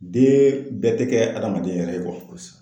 Den bɛɛ tɛ kɛ adamaden yɛrɛ ye